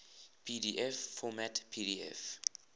pdf format pdf